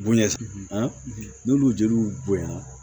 Bonɲɛ n'olu jeliw bonyana